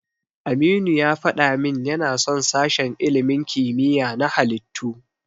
Aminu ya faɗa min yana son sashen ilimin kimiyya na halittu.